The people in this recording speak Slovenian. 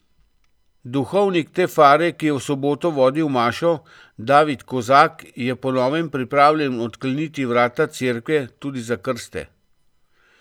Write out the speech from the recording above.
Duhovnik te fare, ki je v soboto vodil mašo, David Kozak je po novem pripravljen odkleniti vrata cerkve tudi za krste.